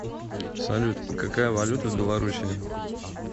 салют какая валюта в белоруссии